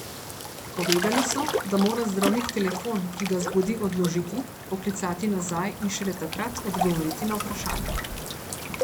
Povedali so, da mora zdravnik telefon, ki ga zbudi, odložiti, poklicati nazaj in šele takrat odgovoriti na vprašanje.